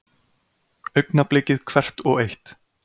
Augnablikið hvert og eitt.